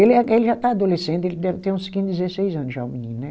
Ele é, ele já está adolescente, ele deve ter uns quinze, dezesseis anos já, o menino, né?